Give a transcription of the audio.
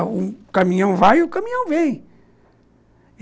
O caminhão vai e o caminhão vem.